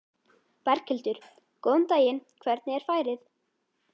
Berghildur: Góðan daginn, hvernig er færið?